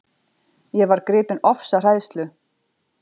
Ég varð gripin ofsahræðslu.